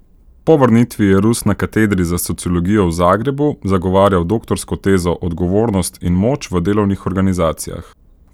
Po vrnitvi je Rus na katedri za sociologijo v Zagrebu zagovarjal doktorsko tezo Odgovornost in moč v delovnih organizacijah.